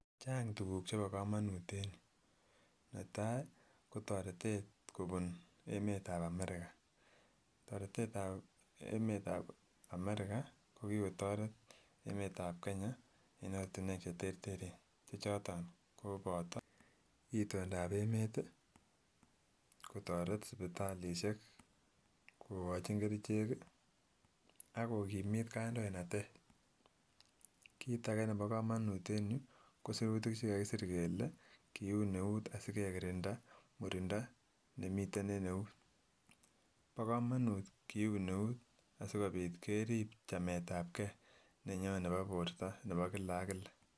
Chang tuguk chebo kamanut en yu. Netai ko toretet kobun emetab Amerika. Toretetab emetab Amerika ko kogotaret emetab Kenya en ortinwek cheterteren che choton koboto itondab emet, kotaret sipitalisiek kogochin kerichekii ak kogimit kandoinatet. Kit age nebo kamanut en yu kosirutik che kagisir kele kiun eut asigegirinda murindo nemiten en eut. Bo kamanut kiun eut asigopit kerib chametab ke nenyon nebo borto nebo kila ak kila.